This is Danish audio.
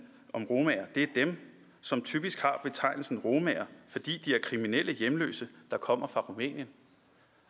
om romaer det er dem som typisk har betegnelsen romaer fordi de er kriminelle hjemløse der kommer fra rumænien